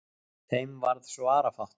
Þeim varð svarafátt.